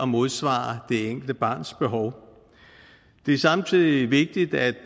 modsvare det enkelte barns behov det er samtidig vigtigt at